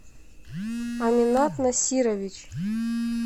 аминат насирович